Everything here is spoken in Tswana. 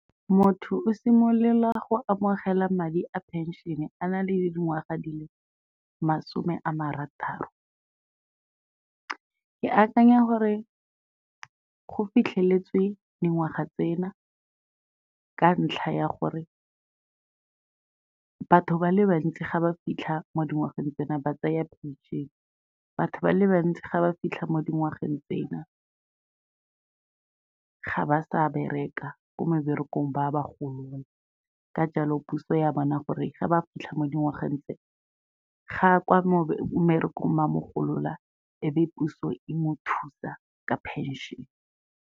Motho o simolola go amogela madi a phenšene a na le dingwaga di le masome a marataro, ke akanya gore go fitlheletswe dingwaga tsena ka ntlha ya gore batho ba le bantsi ga ba fitlha mo dingwageng tsena ba tsaya phenšene, batho ba le bantsi ga ba fitlha mo dingwageng tsena ga ba sa bereka ko meberekong ba ba golola, ka jalo puso ya bona gore ga ba fitlha mo dingwageng itse, ga kwa mmerekong ba mo golola e be puso e mo thusa ka phenšene.